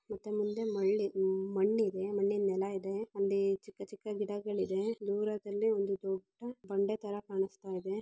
ಮತ್ತೆ ಮುಂದೆ ಮಲ್ಲಿ ಮಣ್ಣಿದೆ. ಮಣ್ಣಿನ ನೆಲಾ ಇದೆ. ಅಲ್ಲಿ ಚಿಕ್ಕ ಚಿಕ್ಕ ಗಿಡಗಲಿದೆ. ದೂರದಲ್ಲಿ ಒಂದ ದೊಡ್ಡ ಬಂದೆ ಥರಾ ಕಾಂಸ್ತಾಯಿದೆ.